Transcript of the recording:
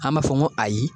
An b'a fɔ ko ayi